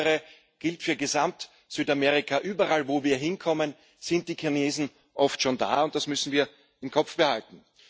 Insbesondere gilt für Gesamt Südamerika Überall, wo wir hinkommen, sind die Chinesen oft schon da, und das müssen wir im Kopf behalten.